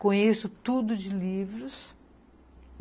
Conheço tudo de livros.